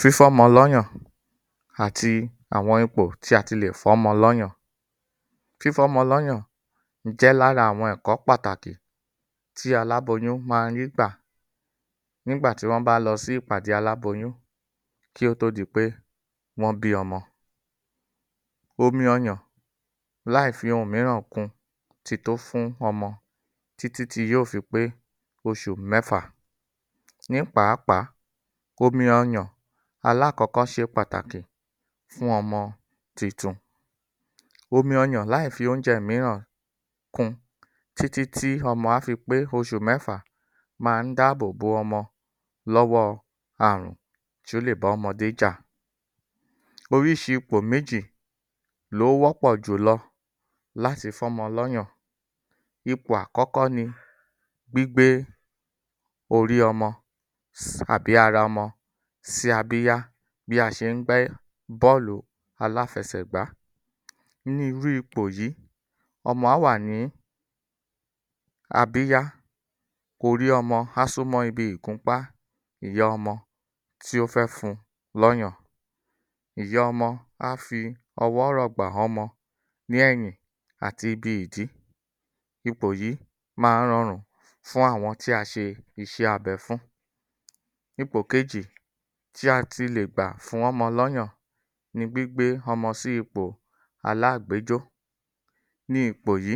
Fífọ́mọ lọ́yàn àti àwọn ipò tí a ti lè fọ́mọ lọ́yàn Fífọ́mọ lọ́yàn àti àwọn ipò tí a ti lè fọ́mọ lọ́yàn. Fífọ́mọ lọ́yàn jé lara àwọn ẹ̀kọ́ pàtàkì tí aláboyún máa ń rí gbà nígbà tí wọ́n bá lọ sí ipàdé Aláboyún kí ó tó di pé wọ́n bí ọmọ. Omi ọyàn láì fi ohun mìíràn kun ti tó fún ọmọ tí tí tí yóò fi pé oṣù mẹ́fà. Ní pàápàá, omi ọ̀yàn alákọkọ́ ṣe pàtàkì fún ọmọ titun. Omi ọyàn láì fi oúnjẹ mìíràn kun tí tí tí ọmọ a fi pé oṣù méfà máa ń dáàbò bo ọmọ lọ́wọ́ ààrùn tí ó lè bá ọmọdé jà. Oríṣi ipò méjì ló wọ́pọ̀ jùlọ láti fọ́mọ lọ́yàn. Ipò akọ́kọ́ ni gbígbé orí ọmọ si tàbí ara mọ si abíyá, bí a ṣe ń gbé bólòlù aláfẹsẹ̀gbà. Ní irú ipò yìí ọmọ a wà ní abíyá, orí ọmọ a súmọ́ ibi ìgúnpá ìyá ọmọ tí ó fẹ́ fún lọ́yàn. Ìyá ọmọ á fi ọwọ́ rọ̀gbà hánmọ lẹ́ỳin àti ibi ìdí. Ipò yìí máa ń rọrùn fún àwọn tí a ṣe iṣẹ́ abé fún. Ipò kejì tí a ti lè gbà fún ọmọ lọyàn ni gbígbé ọmọ sí ipò aláàgbéjó. Ní ipò yìí,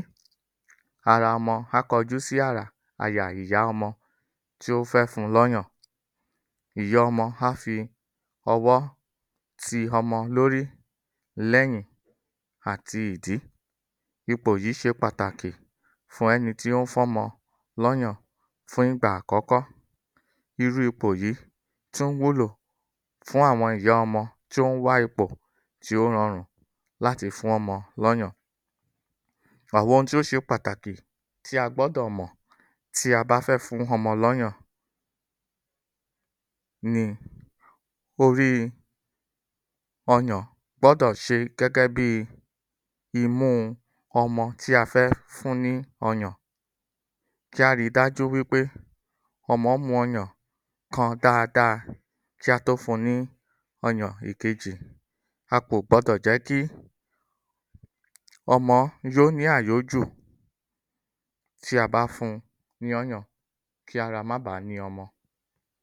ara ọmọ á kojú sí ara àyà ìyá ọmọ tí ó fẹ́ fún lọ́yàn. Ìyá ọmọ a fi ọwọ́ ti ọmọ lórí, lẹ́yìn àti ìdí.ipò yìí ṣe pàtàkì fún ẹni tó ń fọ́mọ lọ́yàn fún ìgbà àkọ́kọ́. Irú ipò yìí tún wúlò fún àwọn ìyá ọmọ tí ó ń wá ipò ti ó rọrùn láti fún ọmọ lóyàn. Àwọn ohun tí ó ṣe pàtàkì tí a gbọ́dọ̀ mọ̀ tí a bá fẹ́ fún ọmọ lọ́yàn ni; orí ọyàn gbọ́dọ̀ ṣe gẹ́gẹ́ bí imú ọmọ tí a fẹ́ fún ní ọyàn. Kí a ri dájú wi pé ọmọ mu ọyàn kan dáadáa kí a tó fun ní ọyàn èkejì. A kò gbọdọ̀ jẹ́ kí ọmọ yó ní àyójù tí a bá fun ní ọyàn, kí ara má bá ni ọmọ.